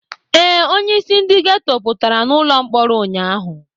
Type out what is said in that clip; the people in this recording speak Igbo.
Ee, onyeisi ndị geto pụtara ụlọ mkpọrọ ụnyaahụ.